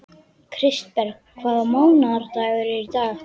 Kristberg, hvaða mánaðardagur er í dag?